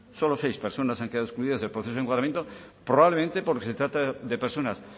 solo seis personas han quedado excluidas del proceso de encuadramiento probablemente porque se trata de personas